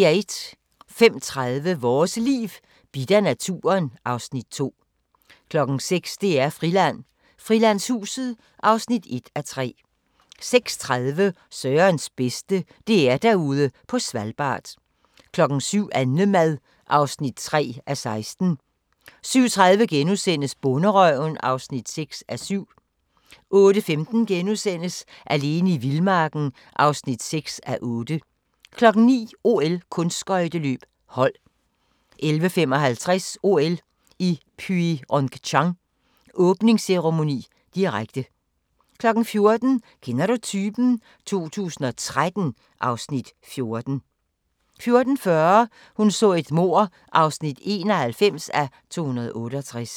05:30: Vores Liv: Bidt af naturen (Afs. 2) 06:00: DR-Friland: Frilandshuset (1:3) 06:30: Sørens bedste: DR Derude på Svalbard 07:00: Annemad (3:16) 07:30: Bonderøven (6:7)* 08:15: Alene i vildmarken (6:8)* 09:00: OL: Kunstskøjteløb - hold 11:55: OL i Pyeongchang: Åbningsceremoni, direkte 14:00: Kender du typen? 2013 (Afs. 14) 14:40: Hun så et mord (91:268)